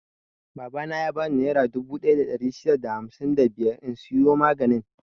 Babana ya bani nera dubu ɗaya da ɗari shida da hamsin da biyar in siyo maganin.